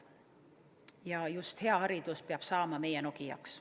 Ja just hea haridus peab saama meie Nokiaks.